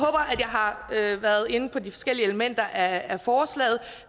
har været inde på de forskellige elementer af forslaget